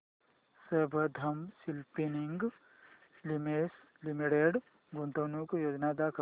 Sambandam spinning mills limited गुंतवणूक योजना दाखव